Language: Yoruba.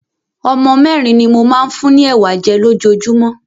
Ọmọ mẹ́rin ni mo máa ń fún ni Ẹ̀wà jẹ́ lójoojúmọ́.